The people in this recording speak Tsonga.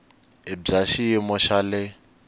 i bya xiyimo xa le